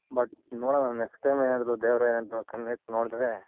but ನೋಡೋಣ next time ಏನಾದ್ರು ದೇವ್ರ್ ಏನಾದ್ರು ಕಣ್ಣೆತ್ ನೋಡುದ್ರೆ.